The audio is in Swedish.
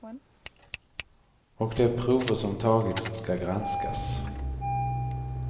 Och de prover som tagits ska granskas.